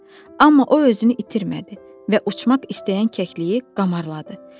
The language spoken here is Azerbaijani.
Amma o özünü itirmədi və uçmaq istəyən kəkliyi qamarladı.